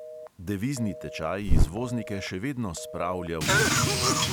Devizni tečaj izvoznike še vedno spravlja v obup.